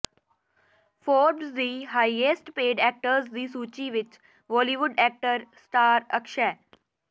Forbes ਦੀ highest paid actors ਦੀ ਸੂਚੀ ਵਿੱਚ ਬਾਲੀਵੁਡ ਸਟਾਰ ਅਕਸ਼ੈ